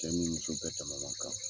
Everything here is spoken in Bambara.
Cɛ ni muso bɛ tɛmɛnokan.